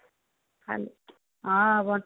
ହଁ ବଣ୍ଟି